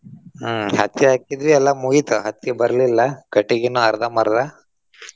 ಹ್ಮ್ ಹತ್ತಿ ಹಾಕಿದ್ವಿ ಎಲ್ಲಾ ಮುಗಿತ್. ಹತ್ತಿ ಬರ್ಲಿಲ್ಲಾ ಕಟಗಿನು ಅರ್ದಂಬರ್ದಾ.